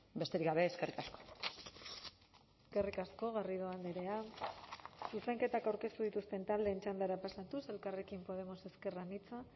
besterik gabe eskerrik asko eskerrik asko garrido andrea zuzenketak aurkeztu dituzten taldeen txandara pasatuz elkarrekin podemos ezker anitza